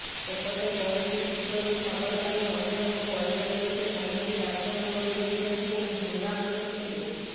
ସେପଟେ କୌଣସି ସୂତ୍ରରୁ ଖବର ପାଇ ମହିଳାଙ୍କ ପରିବାର ଲୋକେ ପହଞ୍ଚି ଡାକ୍ତରଙ୍କ ବିରୋଧରେ ଖୁବ୍ ହଙ୍ଗାମା କରିଥିଲେ